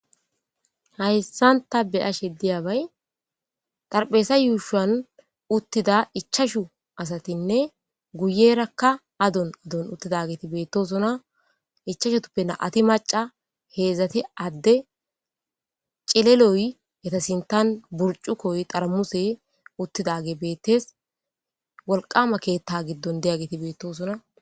hayssan ta be ashe diyabay dharpheesa yuushwan uttida ichashu asatinne guyerakka adon adon uttidageti beettosona ichashutuppe na'ti maca heedzati adde cileloy etasintan burcu koy dharamuse uttidage beettes wolqama keetta giddon deyageti beettosona